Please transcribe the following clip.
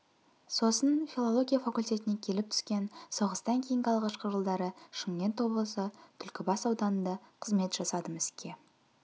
сосын филология факультетіне келіп түскен соғыстан кейінгі алғашқы жылдары шымкент облысы түлкібас ауданында қызмет жасадым іске